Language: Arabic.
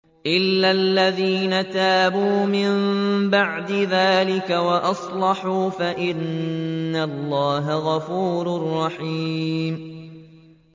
إِلَّا الَّذِينَ تَابُوا مِن بَعْدِ ذَٰلِكَ وَأَصْلَحُوا فَإِنَّ اللَّهَ غَفُورٌ رَّحِيمٌ